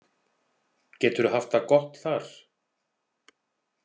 Geturðu haft það gott þar?